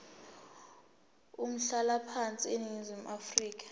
umhlalaphansi eningizimu afrika